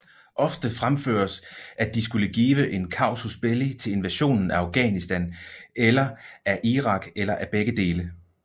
Ofte fremføres at de skulle give en casus belli til invasionen af Afghanistan eller af Irak eller af begge dele